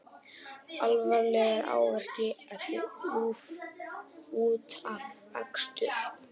Alvarlegir áverkar eftir útafakstur